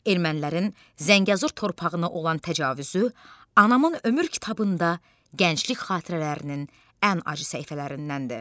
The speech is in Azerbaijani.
Ermənilərin Zəngəzur torpağına olan təcavüzü anamın ömür kitabında gənclik xatirələrinin ən acı səhifələrindəndir.